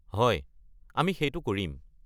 হয়, আমি সেইটো কৰিম।